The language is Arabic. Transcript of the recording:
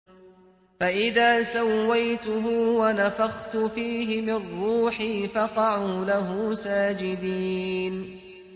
فَإِذَا سَوَّيْتُهُ وَنَفَخْتُ فِيهِ مِن رُّوحِي فَقَعُوا لَهُ سَاجِدِينَ